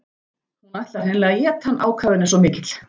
Hún ætlar hreinlega að éta hann, ákafinn er svo mikill.